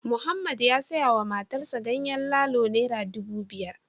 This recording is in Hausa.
Mohammed ya sayawa matarsa ​​ganyen lalo naira dubu biyar